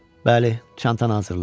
Bəli, çantanı hazırla.